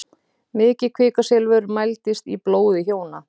Mikið kvikasilfur mældist í blóði hjóna